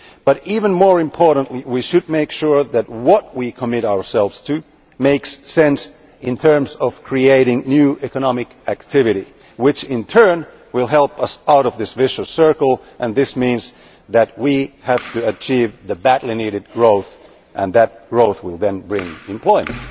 But even more importantly, we should make sure that what we commit ourselves to makes sense in terms of creating new economic activity, which will in turn help us out of this vicious circle and this means that we have to achieve the badly needed growth and that growth will then bring employment.